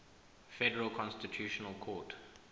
federal constitutional court